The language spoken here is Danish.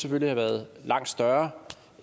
have været langt større